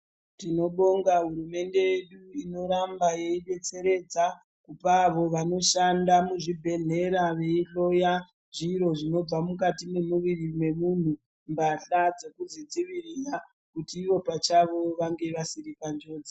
Tinobonga hurumende inoramba yeidetseredza kupa avo vanoshanda muzvibhedhlera veihloya zviro zvinobva mukati mwemuiri wemunhu mbahla dzekuzvidziwirira kuti ivo pachavo vasave vari panjodzi.